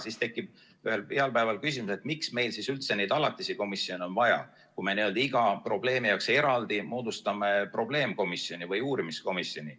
Siis tekib ühel heal päeval küsimus, miks meil siis üldse neid alatisi komisjone on vaja, kui me iga probleemi jaoks eraldi moodustame probleemkomisjoni või uurimiskomisjoni.